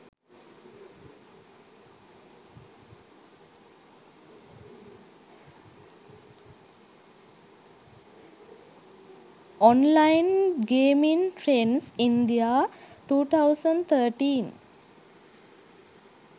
online gaming trends india 2013